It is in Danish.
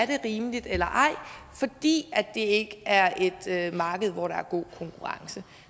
det er rimeligt eller ej fordi det ikke er et marked hvor der er god konkurrence